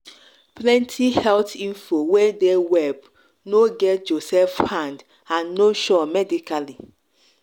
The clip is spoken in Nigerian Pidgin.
plenty health info wey dey web no get joseph hand and no sure medically